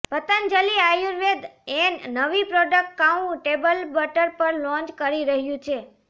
પતંજલિ આયુર્વેદ એન નવી product cow table butter પણ લોન્ચ કરી રહ્યું છે